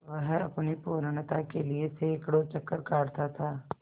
वह अपनी पूर्णता के लिए सैंकड़ों चक्कर काटता था